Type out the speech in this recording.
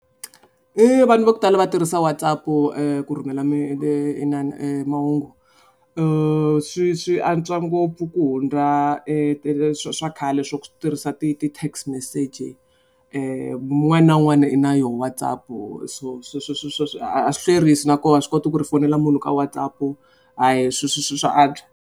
Vanhu va ku tala va tirhisa WhatsApp-u ku rhumela mi mahungu. Swi swi antswa ngopfu ku hundza swa khale swa ku tirhisa ti ti ti-text message-i. Un'wana na un'wana u na yoho WhatsApp-u so swi swi swi a swi hlwerisi na koho a swi koti ku ri u fonela munhu ka WhatsApp-u swa antswa.